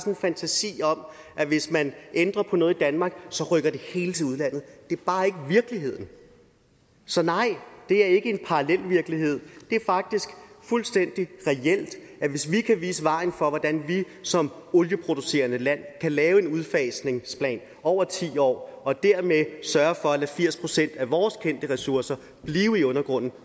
en fantasi om at hvis man ændrer på noget i danmark rykker det hele til udlandet det er bare ikke virkeligheden så nej det er ikke en parallel virkelighed det er faktisk fuldstændig reelt at hvis vi kan vise vejen for hvordan vi som olieproducerende land kan lave en udfasningsplan over ti år og dermed sørge for at lade firs procent af vores kendte ressourcer blive i undergrunden